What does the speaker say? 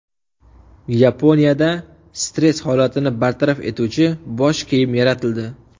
Yaponiyada stress holatini bartaraf etuvchi bosh kiyim yaratildi.